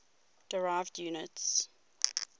derived units